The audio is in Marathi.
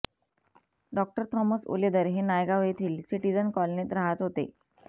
डॉक्टर थॉमस उलेदर हे नायगांव येथील सिटीझन कॉलनीत राहत होते